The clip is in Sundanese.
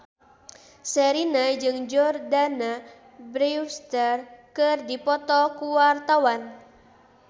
Sherina jeung Jordana Brewster keur dipoto ku wartawan